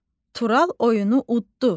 Tural oyunu udddu.